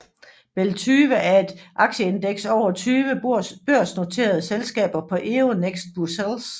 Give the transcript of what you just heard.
BEL20 er et aktieindeks over 20 børsnoterede selskaber på Euronext Brussels